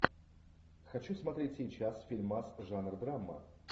хочу смотреть сейчас фильмас жанр драма